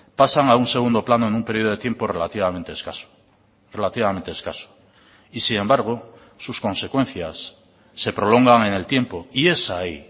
pasan a un segundo plano en un periodo de tiempo relativamente escaso relativamente escaso y sin embargo sus consecuencias se prolongan en el tiempo y es ahí